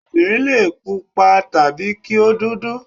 Obìnrin lè pupa tàbí kí ó dúdú.